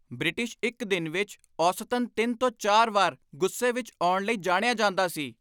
British ਇੱਕ ਦਿਨ ਵਿੱਚ ਔਸਤਨ ਤਿੰਨ ਤੋਂ ਚਾਰ ਵਾਰ ਗੁੱਸੇ ਵਿੱਚ ਆਉਣ ਲਈ ਜਾਣਿਆ ਜਾਂਦਾ ਸੀ